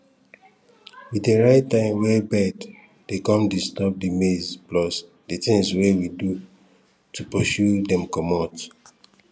we dey write time when bird dey come disturb di maize plus di things wey we do to pursue dem comot